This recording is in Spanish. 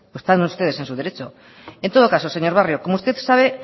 están ustedes en su derecho en todo caso señor barrio como usted sabe